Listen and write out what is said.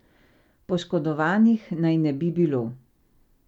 Poškodovanih naj ne bi bilo.